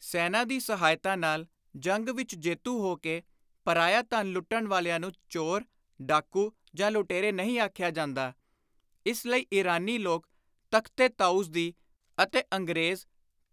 ਸੈਨਾ ਦੀ ਸਹਾਇਤਾ ਨਾਲ ਜੰਗ ਵਿਚ ਜੇਤੂ ਹੋ ਕੇ ਪਰਾਇਆ ਧਨ ਲੁੱਟਣ ਵਾਲਿਆਂ ਨੂੰ ਚੋਰ, ਡਾਕੂ ਜਾਂ ਲੁਟੇਰੇ ਨਹੀਂ ਆਖਿਆ ਜਾਂਦਾ, ਇਸ ਲਈ ਈਰਾਨੀ ਲੋਕ ਤਖ਼ਤ-ਏ-ਤਾਊਸ ਦੀ ਅਤੇ ਅੰਗਰੇਜ਼